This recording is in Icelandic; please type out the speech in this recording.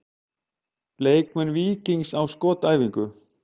Leikmenn Víkings á skotæfingu.